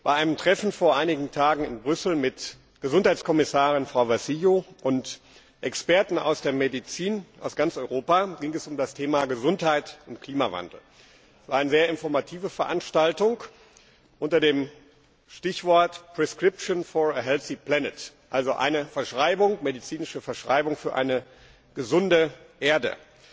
Bei einem Treffen vor einigen Tagen in Brüssel mit Gesundheitskommissarin Vassillou und Experten aus der Medizin aus ganz Europa ging es um das Thema Gesundheit und Klimawandel. Eine sehr informative Veranstaltung unter dem Stichwort also eine medizinische Verschreibung für eine gesunde Erde.